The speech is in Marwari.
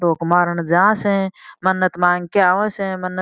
धोक मारन जा स मन्नत मांग के आवे स मन्नत --